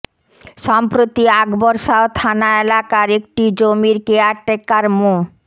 সম্প্রতি আকবর শাহ থানা এলাকার একটি জমির কেয়ারটেকার মো